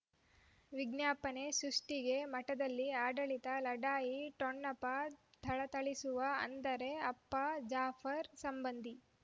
ವಿಜ್ಞಾಪನೆ ಸೃಷ್ಟಿಗೆ ಮಠದಲ್ಲಿ ಆಡಳಿತ ಲಢಾಯಿ ಠೊಣಪ ಥಳಥಳಿಸುವ ಅಂದರೆ ಅಪ್ಪ ಜಾಫರ್ ಸಂಬಂಧಿ